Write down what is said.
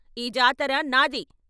ఈ జాతర నాది.